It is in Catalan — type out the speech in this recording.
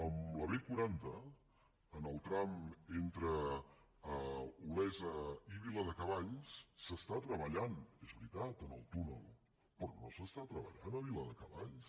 a la b quaranta en el tram entre olesa i viladecavalls s’està treballant és veritat en el túnel però no es treballa a viladecavalls